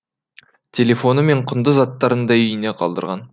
телефоны мен құнды заттарын да үйінде қалдырған